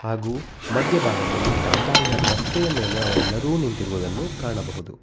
ಹಾಗೂ ಮಧ್ಯಭಾಗದಲ್ಲಿ ಡಾಂಬಾರಿನ ರಸ್ತೆಯ ಮೇಲೆ ಅವರೆಲ್ಲರೂ ನಿಂತಿರುವುದನ್ನು ಕಾಣಬಹುದು.